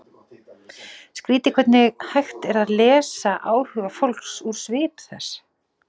Skrýtið hvernig hægt er að lesa áhuga fólks úr svip þess.